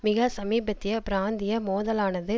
மிக சமீபத்திய பிராந்திய மோதலானது